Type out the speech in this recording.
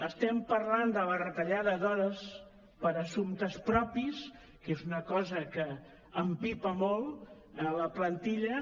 estem parlant de la retallada d’hores per assumptes propis que és una cosa que empipa molt a la plantilla